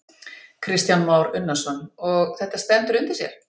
Kristján Már Unnarsson: Og þetta stendur undir sér?